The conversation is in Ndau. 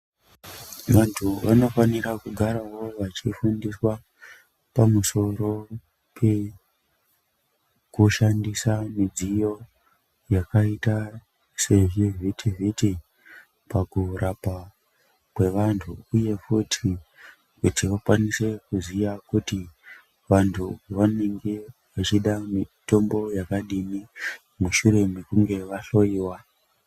Vantu vanofanira kugarawo vachifundiswa pamusoro pekushandiswa midziyo yakaita sezvivhiti-vhiti pakurapa kwevantu uye futi kuti vakwanise kuziya kuti vantu vanenge vachide mitombo yakadini mushure mekunge vahloyiwa.